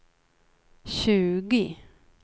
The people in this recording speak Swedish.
tjugo